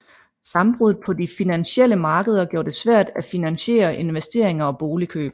Sammenbruddet på de finansielle markeder gjorde det svært at finansiere investeringer og boligkøb